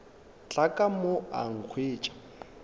tla ka mo a nkhwetša